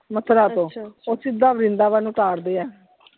ਮਥੁਰਾ ਤੋਂ, ਉਹ ਸਿਧ ਵ੍ਰਿੰਦਾਵਣ ਉਤਾਰਦੇ ਆ।